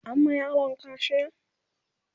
an ma yaron kaciya?